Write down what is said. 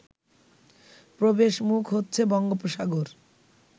প্রবেশমুখ হচ্ছে বঙ্গোপসাগর